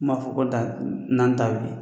Min b'a fɔ ko da na n ta ka wuli